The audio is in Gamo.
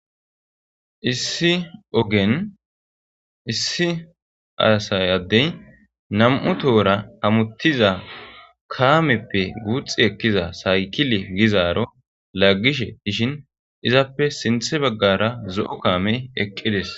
issi ogen issi aasayadey nam7u tohora amuttiza kaameppe guuxi ekkiza saykili gizaaro laggishe ishin izappe sinthe baggara zo7o kaamey eqqides